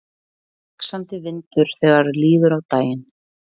Vaxandi vindur þegar líður á daginn